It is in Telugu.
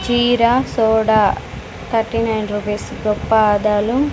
జీర సోడ థర్టీ నైన్ రూపీస్ గొప్ప ఆదాలు--